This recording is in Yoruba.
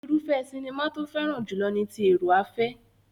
Irúfẹ́ sinimá tó fẹ́ràn jùlọ ni ti èrò-afẹ́.